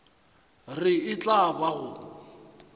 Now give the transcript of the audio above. re e tla ba go